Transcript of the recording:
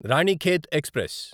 Ranikhet express